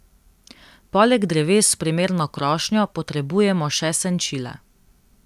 Poleg dreves s primerno krošnjo potrebujemo še senčila.